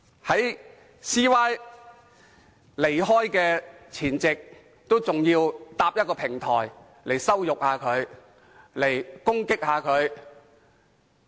在梁振英離開前夕，反對派仍要搭建一個平台來羞辱他、攻擊他。